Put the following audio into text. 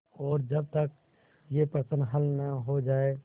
और जब तक यह प्रश्न हल न हो जाय